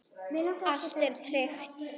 Allt er tryggt.